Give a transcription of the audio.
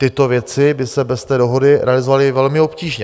Tyto věci by se bez té dohody realizovaly velmi obtížně.